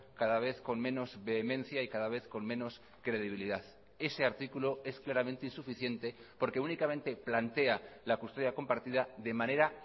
cada vez con menos vehemencia y cada vez con menos credibilidad ese artículo es claramente insuficiente porque únicamente plantea la custodia compartida de manera